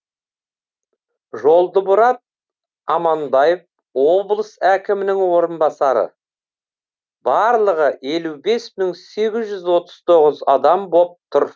жолдымұрат аманбаев облыс әкімінің орынбасары барлығы елу бес мың сегіз жүз отыз тоғыз адам боп тұр